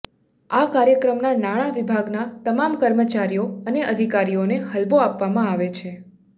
આ કાર્યક્રમમાં નાણાં વિભાગના તમામ કર્મચારીઓ અને અધિકારીઓને હલવો આપવામાં આવે છે